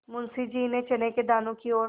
मुंशी जी ने चने के दानों की ओर